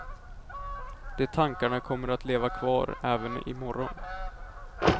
De tankarna kommer att leva kvar även i morgon.